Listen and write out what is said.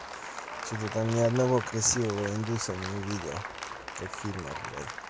что-то там ни одного красивого индуса не увидел как фильмах блять